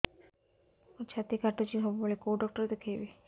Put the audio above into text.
ମୋର ଛାତି କଟୁଛି ସବୁବେଳେ କୋଉ ଡକ୍ଟର ଦେଖେବି